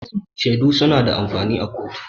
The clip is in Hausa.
Shaidu su na da amfani a kotu